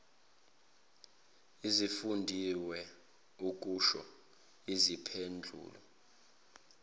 ezifundiwe ukusho izimpendulo